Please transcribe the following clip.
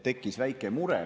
Tekkis väike mure.